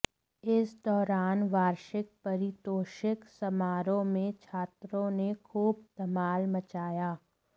इस दौरान वार्षिक पारितोषिक समारोह में छात्रों ने खूब धमाल मचाया